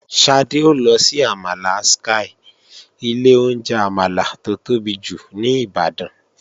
Ṣadé ó lọ sí àmàlà Sky, ilé oúnjẹ àmàlà tó tóbi jù ní Ìbàdàn.